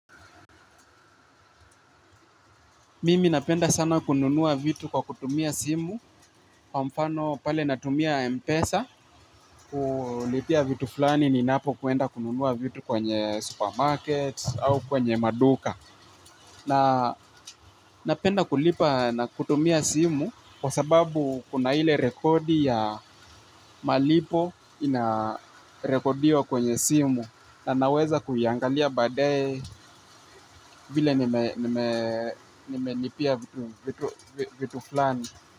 Mimi napenda sana kununua vitu kwa kutumia simu kwa mfano pale natumia mpesa kulipia vitu fulani ninapokwenda kununua vitu kwenye supermarket au kwenye maduka. Na napenda kulipa na kutumia simu kwa sababu kuna ile rekodi ya malipo inarekodiwa kwenye simu. Na naweza kuyaangalia badae vile nimelipia vitu flani.